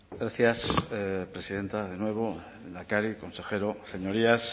gracias presidenta de nuevo lehendakari consejero señorías